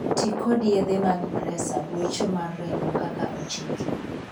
Tii kod yedhe mag presa (gwecho mar remo) kaka ochiki.